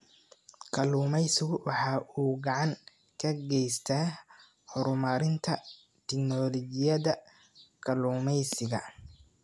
Kalluumaysigu waxa uu gacan ka geystaa horumarinta tignoolajiyada kalluumaysiga.